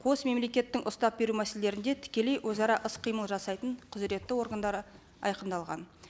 қос мемлекеттің ұстап беру мәселелерінде тікелей өзара іс қимыл жасайтын құзыретті органдары айқындалған